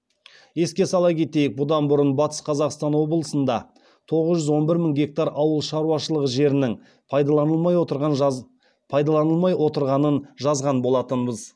еске сала кетейік бұдан бұрын батыс қазақстан облысында тоғыз жүз он бір мың гектар ауыл шаруашылығы жерінің пайдаланылмай отырғанын жазған болатынбыз